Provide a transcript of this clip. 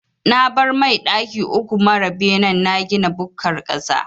Na bar mai daki uku mara benen na gina bukkar ƙasa.